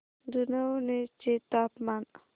जुनवणे चे तापमान